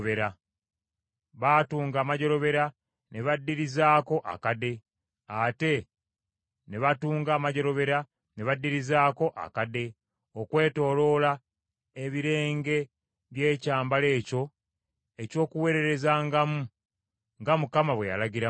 baatunga amajjolobera ne baddirizaako akade, ate ne batunga amajjolobera ne baddirizaako akade, okwetooloola ebirenge by’ekyambalo ekyo eky’okuweererezangamu; nga Mukama bwe yalagira Musa.